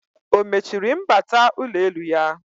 O mechiri mbata ụlọelu ya?